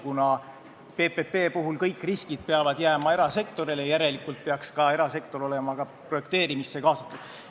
Kuna PPP puhul kõik riskid peavad jääma erasektorile, siis järelikult peaks ka erasektor olema projekteerimisse kaasatud.